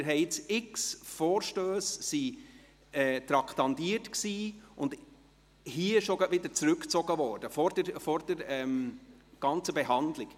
Zig Vorstösse waren traktandiert und wurden hier gleich wieder zurückgezogen – vor deren Behandlung.